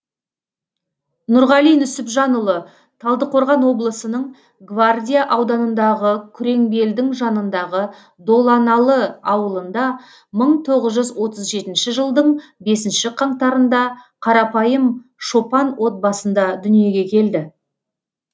нұрғали нүсіпжанұлы талдықорған облысының гвардия ауданындағы күреңбелдің жанындағы доланалы ауылында мың тоғыз жүз отыз жетінші жылдың бесінші қаңтарында қарапайым шопан отбасында дүниеге келді